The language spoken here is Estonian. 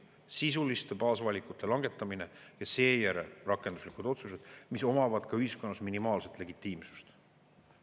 Sisuliste baasvalikute langetamine ja seejärel rakenduslikud otsused, mis omavad ka ühiskonnas minimaalset legitiimsust.